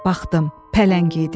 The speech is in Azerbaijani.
Baxdım, pələng idi.